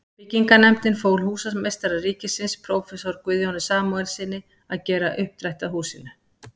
Byggingarnefndin fól húsameistara ríkisins, próf. Guðjóni Samúelssyni, að gera uppdrætti að húsinu.